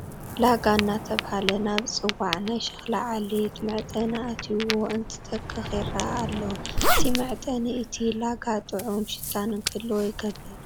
ላጋ እናተባህለ ናብ ዝፅዋዕ ናይ ሽክና ዓሌት መዕጠኒ ኣትዮዎ እንትተኽኽ ይርአ ኣሎ፡፡ እዚ መዕጠኒ እቲ ላጋ ጥዑም ሽታ ንክህልዎ ይገብር፡፡